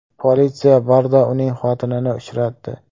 Politsiya barda uning xotinini uchratdi .